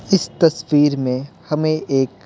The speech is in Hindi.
इस तस्वीर में हमें एक--